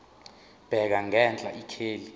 bheka ngenhla ikheli